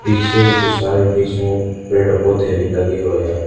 पीछे की साइड बीच मे पेड़ पौधे भी लगे हुए है।